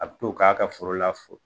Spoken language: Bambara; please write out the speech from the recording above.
A bi to k'a ka foro la fo